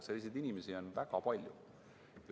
Selliseid inimesi on väga palju.